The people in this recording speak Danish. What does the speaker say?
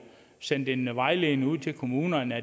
sendt en vejledning ud til kommunerne